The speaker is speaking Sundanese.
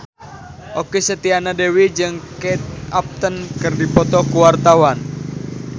Okky Setiana Dewi jeung Kate Upton keur dipoto ku wartawan